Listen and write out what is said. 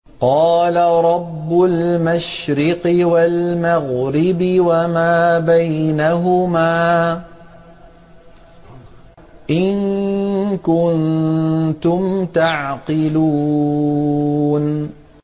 قَالَ رَبُّ الْمَشْرِقِ وَالْمَغْرِبِ وَمَا بَيْنَهُمَا ۖ إِن كُنتُمْ تَعْقِلُونَ